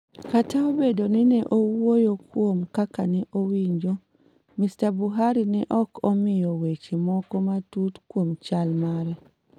Kata obedo ni ne owuoyo kuom kaka ne owinjo, Mr. Buhari ne ok omiyo weche moko matut kuom chal mare.